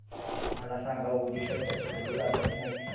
मला सांगा ओडिशा च्या चक्रीवादळाची माहिती